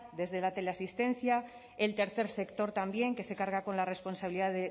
desde la teleasistencia el tercer sector también que se carga con la responsabilidad